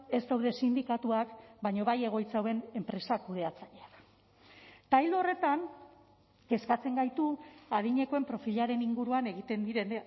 ez daude sindikatuak baina bai egoitza hauen enpresak kudeatzaileak eta ildo horretan kezkatzen gaitu adinekoen profilaren inguruan egiten diren